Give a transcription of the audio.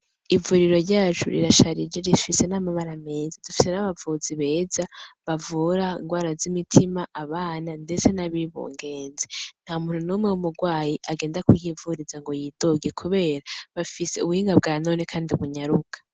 Ivuriro ryacu rirasharije, rifise n'amabara meza; dufise n'abavuzi beza bavura ingwara z'imitima, abana ndetse n'abibungenze. Nta muntu n'umwe w'umurwayi agenda kuhivuriza ngo yidoge kubera, bafise ubuhinga bwa none kandi bunyaruka.